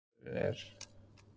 Friður á jörðu, því faðirinn er